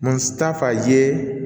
ta fa ye